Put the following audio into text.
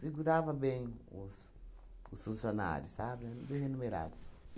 Segurava bem os os funcionários, sabe, eram bem renumerados.